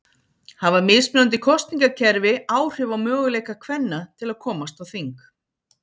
Hafa mismunandi kosningakerfi áhrif á möguleika kvenna til að komast á þing?